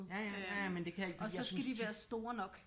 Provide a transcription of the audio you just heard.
Ja ja ja ja men det kan jeg ikke fordi jeg synes